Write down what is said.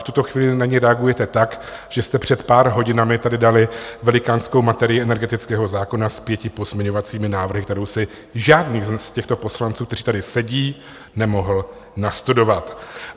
V tuto chvíli na ni reagujete tak, že jste před pár hodinami tady dali velikánskou materii energetického zákona s pěti pozměňovacími návrhy, kterou si žádný z těchto poslanců, kteří tady sedí, nemohl nastudovat.